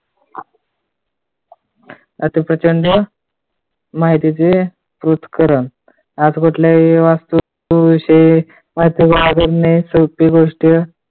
आता प्रचंड माहितीचे पृथक्करण वास्तु विषयी सोपी गोष्ट